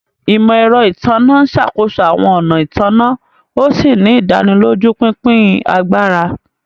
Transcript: Imọ-ẹrọ Itanna n ṣakoso awọn ọna ìtanná, òsì ni ìdánilójú pínpín àgbàrá